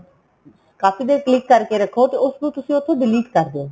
ਕਾਫੀ ਦੇਰ click ਕਰ ਕੇ ਰੱਖੋ ਤੇ ਉਸਨੂੰ ਤੁਸੀਂ ਉੱਥੋ delete ਕਰ ਦਿਉ